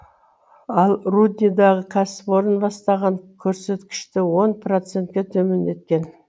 ал рудныйдағы кәсіпорын бастапқы көрсеткішті он процентке төмендеткен